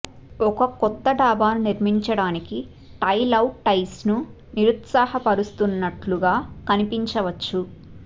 ఒక కొత్త డాబాను నిర్మించడానికి టైల్ అవుట్ టాయిస్ను నిరుత్సాహపరుస్తున్నట్లుగా కనిపించవచ్చు